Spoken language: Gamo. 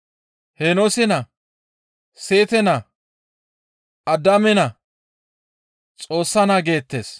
Heenoose naa, Seete naa Addaame naa, Xoossa naa geettes.